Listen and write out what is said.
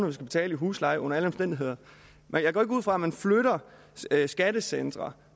vi skal betale i husleje under alle omstændigheder og jeg går ikke ud fra at man flytter skattecentre